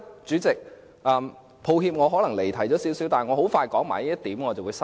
主席，抱歉我可能有些離題，但我很快說完這一點便會收口。